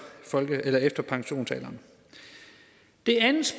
folkepensionsalderen det andet